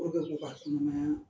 Olu bɛ sɔn ka